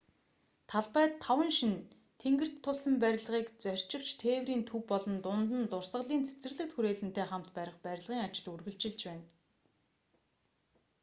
талбайд таван шинэ тэнгэрт тулсан барилгыг зорчигч тээврийн төв болон дунд нь дурсгалын цэцэрлэгт хүрээлэнтэй хамт барих барилгын ажил үргэлжилж байна